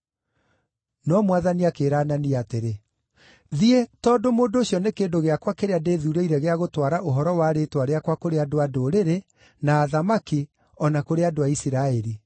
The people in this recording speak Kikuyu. No Mwathani akĩĩra Anania atĩrĩ, “Thiĩ, tondũ ũndũ ũcio nĩ kĩndũ gĩakwa kĩrĩa ndĩĩthuurĩire gĩa gũtwara ũhoro wa rĩĩtwa rĩakwa kũrĩ andũ-a-Ndũrĩrĩ, na athamaki, o na kũrĩ andũ a Isiraeli.